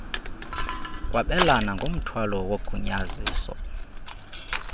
kwabelana ngomthwalo wogunyaziso